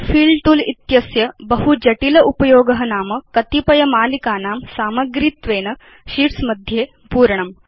fill तूल इत्यस्य बहु जटिल उपयोग नाम कतिपय मालिकानां सामग्रीत्वेन शीट्स् मध्ये पूरणम्